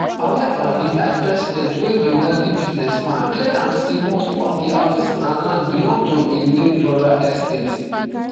however di vicepresident wey be wealthy businessman clear am say most of di houses and land belong to im late brother estate